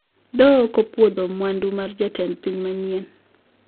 Doho okopuodho mwandu mar jatend piny manyien